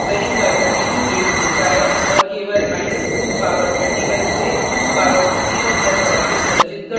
int memory का 32 bits लेता है और केवल2 power 31 से 2 power 31 तक values संचित कर सकता है